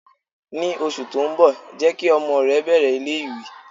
Ní oṣù tó ń bọ̀, jẹ́ kí ọmọ rẹ bẹ̀rẹ̀ ilé ìwé.